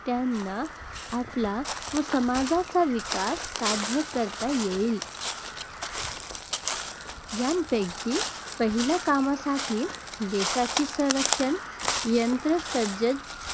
त्यांना आपला व समाजाचा विकास साध्य करता येईल. यांपैकी पहिल्या कामासाठी देशाची संरक्षण यंत्रणा सज्ज